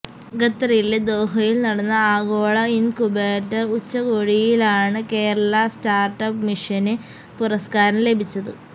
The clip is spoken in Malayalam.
ഖത്തറിലെ ദോഹയിൽ നടന്ന ആഗോള ഇൻകുബേറ്റർ ഉച്ചകോടിയിലാണ് കേരളാ സ്റ്റാർട്ടപ് മിഷന് പുരസ്കാരം ലഭിച്ചത്